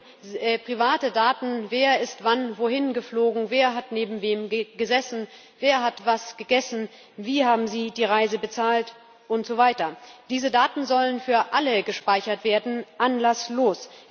Es geht um private Daten Wer ist wann wohin geflogen, wer hat neben wem gesessen, wer hat was gegessen, wie haben sie die Reise bezahlt usw. Diese Daten sollen für alle gespeichert werden anlasslos.